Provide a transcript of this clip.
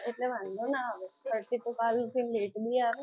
એટલે વાંધો ના certify તો કાલ ઉઠીને late બી આવે ને.